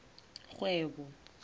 kgwebo